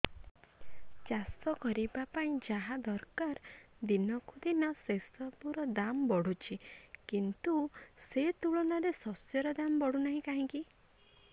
ଚାଷ କରିବା ପାଇଁ ଯାହା ଦରକାର ଦିନକୁ ଦିନ ସେସବୁ ର ଦାମ୍ ବଢୁଛି କିନ୍ତୁ ସେ ତୁଳନାରେ ଶସ୍ୟର ଦାମ୍ ବଢୁନାହିଁ କାହିଁକି